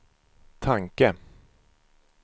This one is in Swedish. tanke